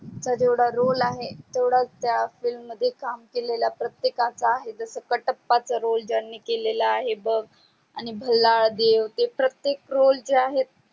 त्याचात येवडा roll आहे तेवढाच त्या film मध्ये काम केलेल्या प्रतेकचा आहे जस कटप्पाचा roll ज्यानि केलेला आहे बग आणि भहल्ला देव ते प्रतेक roll जे आहे